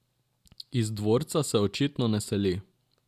Iz dvorca se očitno ne seli.